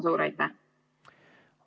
Suur aitäh!